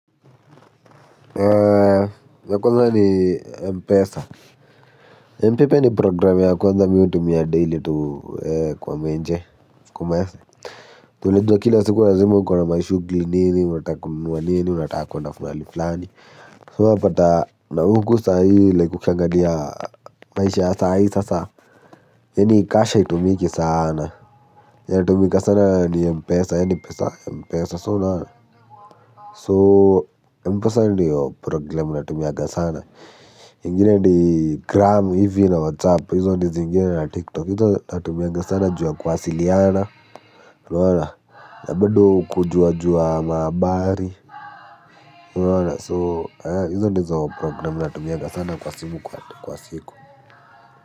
Ya kwanza ni M-pesa M-pepe ni program ya kwanza mimi hutumia daily tu kwa menje kwa maese ju unajua kila siku lazima uko na mashughuli nini unataka kununua nini unataka kwenda mahali fulani so unapata na huku sahii like ukiangalia maisha ya sahii sasa yaani cash haitumiki sana yenye inatumika sana ni M-pesa yaani pesa M-pesa so unaona so M-pesa ndiyo program natumianga sana. Ingine ni gram hivi na whatsapp hizo ndo zingine na tiktok hizo natumianga sana ju ya kuwasiliana unaona na bao kujua jua mahabari unaona so hizo ndizo programu natumianga sana kwa simu kwa siku.